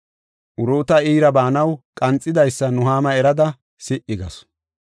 Uruuta iira baanaw qanxidaysa Nuhaama erada si77i gasu.